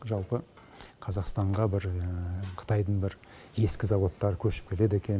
жалпы қазақстанға бір қытайдың бір ескі заводтары көшіп келеді екен